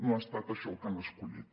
no ha estat això el que han escollit